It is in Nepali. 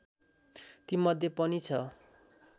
तीमध्ये पनि ६